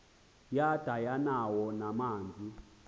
yada yanawo namanzi